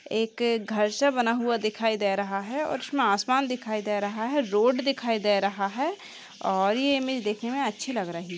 एक घर सा बना हुआ दिखाई दे रहा है और इसमें आसमान दिखाई दे रहा है रोड दिखाई दे रहा है और यह इमेज देखने में अच्छी लग रही --